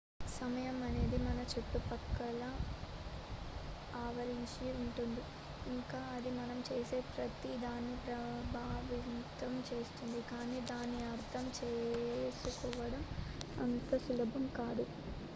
సమయం అనేది మన చుట్టుపక్కల ఆవరించి ఉంటుంది ఇంకా అది మనం చేసే ప్రతి దాన్ని ప్రభావితం చేస్తుంది కానీ దాన్ని అర్ధం చేసుకోవడం అంత సులభం కాదు